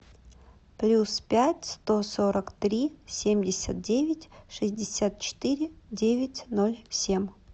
плюс пять сто сорок три семьдесят девять шестьдесят четыре девять ноль семь